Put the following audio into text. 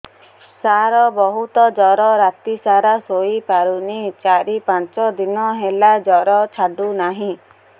ସାର ବହୁତ ଜର ରାତି ସାରା ଶୋଇପାରୁନି ଚାରି ପାଞ୍ଚ ଦିନ ହେଲା ଜର ଛାଡ଼ୁ ନାହିଁ